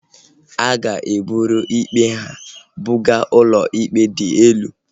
A ga-eburu ikpe ha buga ụlọikpe dị elu